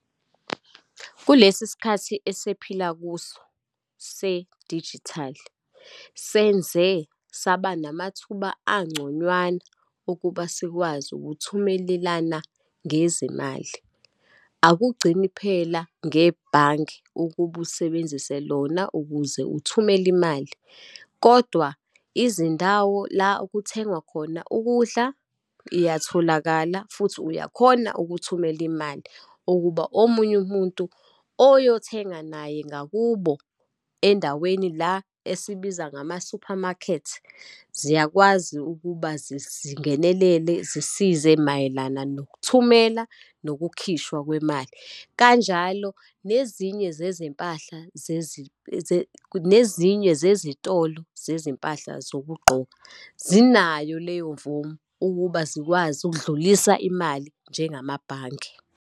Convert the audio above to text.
Kulesi sikhathi esephila kuso, sedijithali senze saba namathuba angconywana ukuba sikwazi ukuthumelelana ngezimali. Akugcini phela ngebhange ukuba usebenzise lona ukuze uthumele imali. Kodwa izindawo la okuthengwa khona ukudla, iyatholakala futhi uyakhona ukuthumela imali ukuba omunye umuntu oyothenga naye ngakubo endaweni la esibiza ngama-supermarket, ziyakwazi ukuba zingenelele zisize mayelana nokuthumela, nokukhishwa kwemali. Kanjalo nezinye zezempahla nezinye zezitolo zezimpahla zokugqoka, zinayo leyo mvumo ukuba zikwazi ukudlulisa imali njengamabhange.